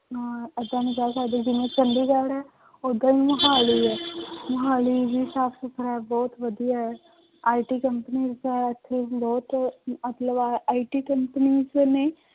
ਅਹ ਏਦਾਂ ਨੀ ਕਹਿ ਸਕਦੇ ਜਿਵੇਂ ਚੰਡੀਗੜ੍ਹ ਹੈ ਓਦਾਂ ਹੀ ਮੁਹਾਲੀ ਹੈ ਮੁਹਾਲੀ ਵੀ ਸਾਫ਼ ਸੁਥਰਾ ਬਹੁਤ ਵਧੀਆ ਹੈ IT companies ਹੈ ਇੱਥੇ ਬਹੁਤ ਮਤਲਬ IT companies ਨੇ